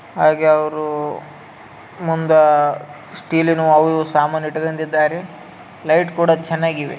ಹಾಗೇ ಅವ್ರು ಮುಂದ ಸ್ಟೀಲ್ನವು ಅವು ಇವು ಸಾಮಾನು ಇಟ್ಕೋಂಡಿದ್ದಾರೆ ಲೈಟ್ ಕೂಡ ಚೆನ್ನಾಗಿವೆ.